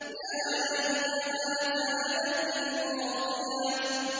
يَا لَيْتَهَا كَانَتِ الْقَاضِيَةَ